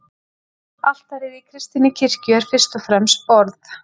Altarið í kristinni kirkju er fyrst og fremst borð.